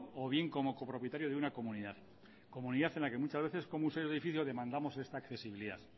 o bien como copropietario de una comunidad comunidad en la que muchas veces como usuarios del edificio demandamos esta accesibilidad